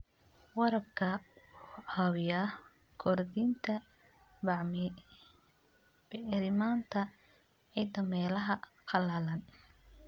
Waraabka wuxuu caawiyaa kordhinta bacriminta ciidda meelaha qallalan.